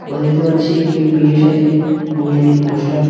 আমরা দেখতে পাচ্ছি একটি বিয়ে সাজে মহিলির পোস্টার ।